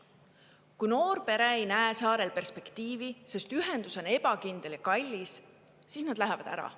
Kui noor pere ei näe saarel perspektiivi, sest ühendus on ebakindel ja kallis, siis nad lähevad ära.